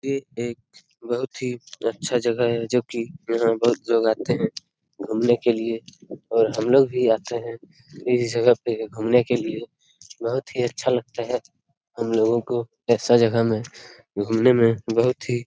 ये एक बहुत ही अच्छा जगह है जो की यहाँ बहुत लोग आते हैं घुमने के लिए और हम लोग भी आते हैं। ऐसा जगह पर घूमने के लिये बहुत ही अच्छा लगता है हम लोगों को ऐसा जगह में घूमने में बहुत ही --